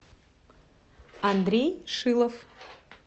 андрей шилов